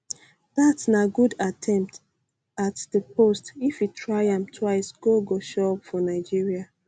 dat na good attempt um at di post if e try um am twixe goal go show up for nigeria